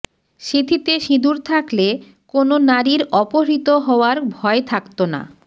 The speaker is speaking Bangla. সিঁথিতে সিঁদুর থাকলে কোনো নারীর অপহৃত হওয়ার ভয় থাকত না